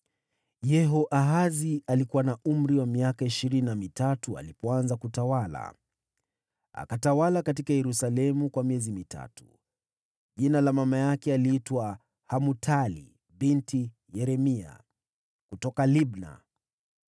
Yehoahazi alikuwa na umri wa miaka ishirini na mitatu alipoanza kutawala, naye akatawala huko Yerusalemu kwa miezi mitatu. Jina la mama yake aliitwa Hamutali binti Yeremia kutoka Libna.